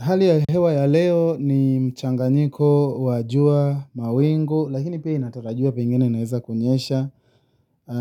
Hali ya hewa ya leo ni mchanganyiko wa jua na mawingu lakini pia inatarajia pengine kunaeza kunyesha.